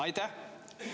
Aitäh!